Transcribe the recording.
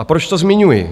A proč to zmiňuji?